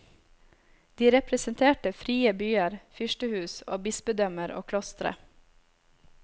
De representerte frie byer, fyrstehus og bispedømmer og klostre.